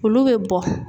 Olu bɛ bɔ